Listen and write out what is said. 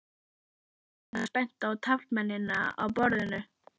Thomas benti á taflmennina á borðinu.